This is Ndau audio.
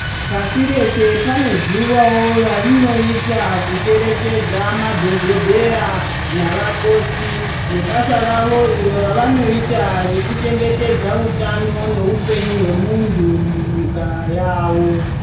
Pasi rese pane zuwawo ratinoita kucherechedza madhokodheya navakoti nebasa ravo uronravanoita rekuchengetedza hutano nehupenyu hwemuntu munyika yawo.